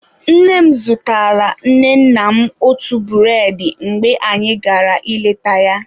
Nne m zụtaala nne nna m otu bụredị mgbe anyị gara ịleta ya.